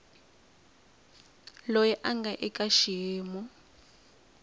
loyi a nga eka xiyimo